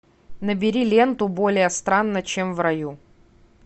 набери ленту более странно чем в раю